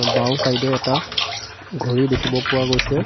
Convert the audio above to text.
বাওঁ চাইড এ এটা ঘড়ী দেখিব পোৱা গৈছে।